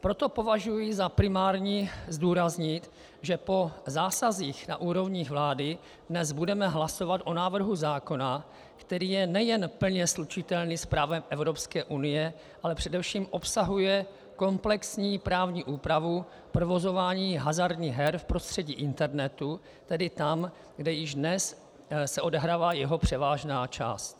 Proto považuji za primární zdůraznit, že po zásazích na úrovni vlády dnes budeme hlasovat o návrhu zákona, který je nejen plně slučitelný s právem Evropské unie, ale především obsahuje komplexní právní úpravu provozování hazardních her v prostředí internetu, tedy tam, kde již dnes se odehrává jeho převážná část.